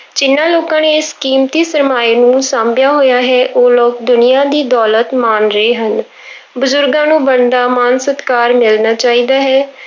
ਜਿਹਨਾਂ ਲੋਕਾਂ ਨੇ ਇਸ ਕੀਮਤੀ ਸ਼ਰਮਾਏ ਨੂੰ ਸਾਂਭਿਆ ਹੋਇਆ ਹੈ ਉਹ ਲੋਕ ਦੁਨੀਆਂ ਦੀ ਦੌਲਤ ਮਾਣ ਰਹੇ ਹਨ ਬਜ਼ੁਰਗਾਂ ਨੂੰ ਬਣਦਾ ਮਾਣ ਸਤਿਕਾਰ ਮਿਲਣਾ ਚਾਹੀਦਾ ਹੈ।